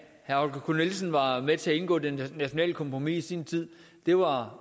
herre holger k nielsen var med til at indgå det nationale kompromis i sin tid det var